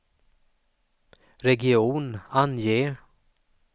region, ange